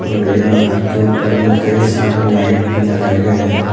और यहाँ घर के ऊपर में कई सारे लाइट भी लगाए गए हैं।